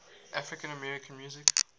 african american music